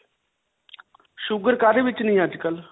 sugar ਕਾਦੇ ਵਿੱਚ ਨਹੀਂ ਹੈ ਅੱਜਕਲ੍ਹ?